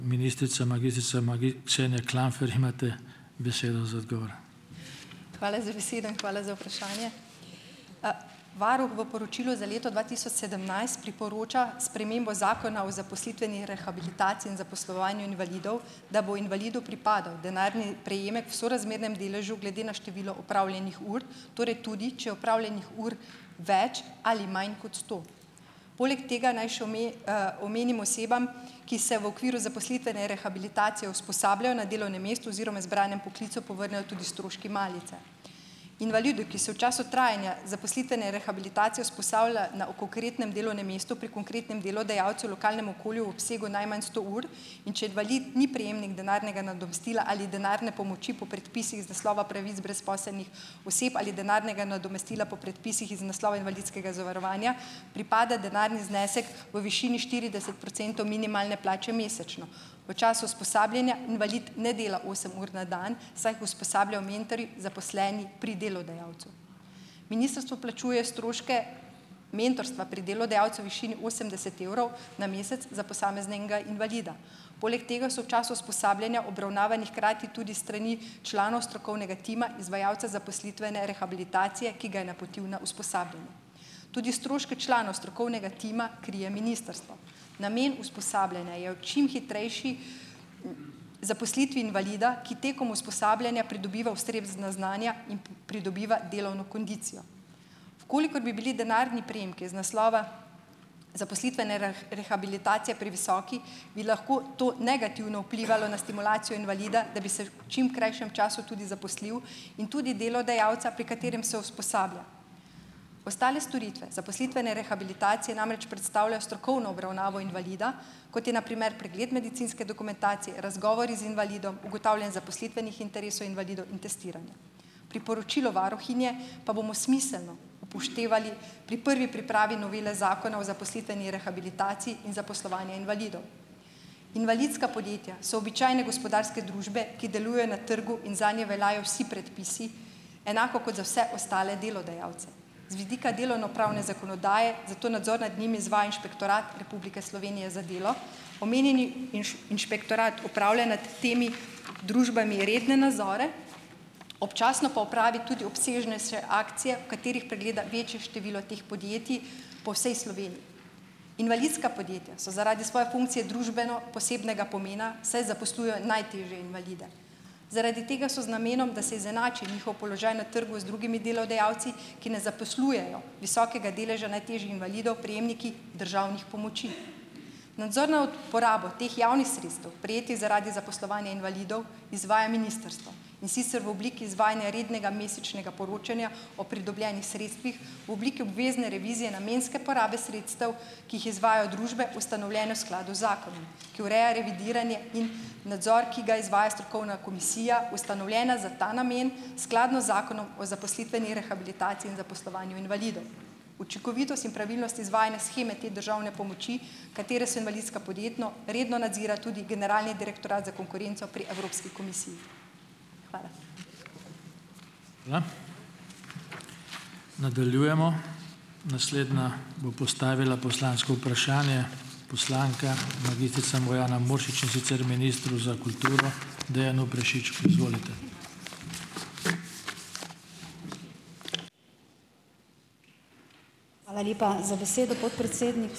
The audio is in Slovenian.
Hvala za besedo in hvala za vprašanje. Varuh v poročilu za leto dva tisoč sedemnajst priporoča spremembo Zakona o zaposlitveni rehabilitaciji in zaposlovanju invalidov, da bo invalidu pripadal denarni prejemek v sorazmernem deležu glede na število opravljenih ur, torej tudi, če opravljenih ur več ali manj kot sto. Poleg tega, naj še omenim osebam, ki se v okviru zaposlitvene rehabilitacije usposabljajo na delovnem mestu oziroma izbranem poklicu, povrnejo tudi stroški malice. Invalidu, ki se v času trajanja zaposlitvene rehabilitacije usposablja na v konkretnem delovnem mestu pri konkretnem delodajalcu lokalnem okolju v obsegu najmanj sto ur, in če invalid ni prejemnik denarnega nadomestila ali denarne pomoči po predpisih iz naslova pravic brezposelnih oseb ali denarnega nadomestila po predpisih iz naslova invalidskega zavarovanja, pripada denarni znesek v višini štirideset procentov minimalne plače mesečno. V času usposabljanja invalid ne dela osem ur na dan, saj jih usposabljajo mentorji, zaposleni pri delodajalcu. Ministrstvo plačuje stroške mentorstva pri delodajalcu višini osemdeset evrov na mesec za posameznega invalida, poleg tega so v času usposabljanja obravnavani hkrati tudi s strani članov strokovnega tima izvajalca zaposlitvene rehabilitacije, ki ga je napotil na usposabljanje. Tudi stroške članov strokovnega tima krije ministrstvo. Namen usposabljanja je v čim hitrejši zaposlitvi invalida, ki tekom usposabljanja pridobiva ustrezna znanja in pridobiva delovno kondicijo. V kolikor bi bili denarni prejemki iz naslova zaposlitvene rehabilitacije previsoki, bi lahko to negativno vplivalo na stimulacijo invalida, da bi se čim krajšem času tudi zaposlil, in tudi delodajalca, pri katerem se usposablja. Ostale storitve zaposlitvene rehabilitacije namreč predstavlja strokovno obravnavo invalida, kot je na primer pregled medicinske dokumentacije, razgovori z invalidom, ugotavljanje zaposlitvenih interesov invalidov in testiranje. Priporočilo varuhinje pa bomo smiselno upoštevali pri prvi pripravi novele Zakona o zaposlitveni rehabilitaciji in zaposlovanje invalidov. Invalidska podjetja so običajne gospodarske družbe, ki deluje na trgu in zanje veljajo vsi predpisi, enako kot za vse ostale delodajalce. Z vidika delovnopravne zakonodaje zato nadzor nad njimi izvaja Inšpektorat Republike Slovenije za delo. Omenjeni inšpektorat opravlja nad temi družbami redne nazore, občasno pa opravi tudi obsežnejše akcije, v katerih pregleda večje število teh podjetij po vsej Sloveniji. Invalidska podjetja so zaradi svoje funkcije družbeno posebnega pomena, saj zaposlujejo najtežje invalide. Zaradi tega so z namenom, da se izenači njihov položaj na trgu z drugimi delodajalci, ki ne zaposlujejo visokega deleža najtežjih invalidov, prejemniki državnih pomoči. Nadzor na uporabo teh javnih sredstev, prejetih zaradi zaposlovanja invalidov, izvaja ministrstvo, in sicer v obliki izvajanja rednega mesečnega poročanja o pridobljenih sredstvih v obliki obvezne revizije namenske porabe sredstev, ki jih izvajajo družbe, ustanovljene v skladu z zakonom, ki ureja revidiranje in nadzor, ki ga izvaja strokovna komisija, ustanovljena za ta namen skladno z Zakonom o zaposlitveni rehabilitaciji in zaposlovanju invalidov. Učinkovitost in pravilnost izvajanja sheme te državne pomoči, katere so invalidska, podjetno redno nadzira tudi generalni direktorat za konkurenco pri Evropski komisiji. Hvala.